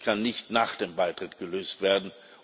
Sie können nicht nach dem Beitritt gelöst werden.